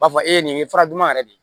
U b'a fɔ e nin ye fura duman yɛrɛ de